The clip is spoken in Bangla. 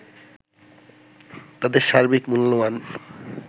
তাদের সার্বিক মূল্যমান